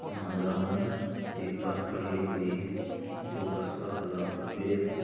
यहां ग्राउंड में एक बस खड़ी हुई है। जो बस का कलर सफेद है।